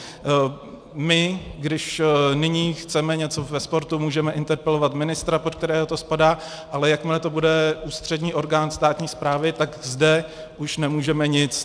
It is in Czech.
My když nyní chceme něco ve sportu, můžeme interpelovat ministra, pod kterého to spadá, ale jakmile to bude ústřední orgán státní správy, tak zde už nemůžeme nic.